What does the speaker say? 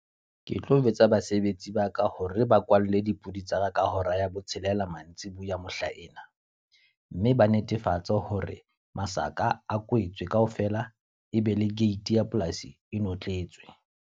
Ke tlo jwetsa basebetsi ba ka hore ba kwalle dipudi tsa ka ka hora ya botshelela mantsibuya mohla ena. Mme ba netefatsa hore masaka a kwetswe ka ofela. E be le gate ya polasi e notletswe.